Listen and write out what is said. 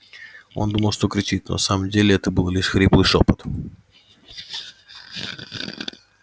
он думал что кричит но на самом деле это был лишь хриплый шёпот